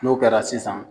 N'o kɛra sisan